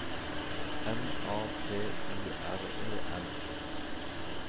N A T U R E N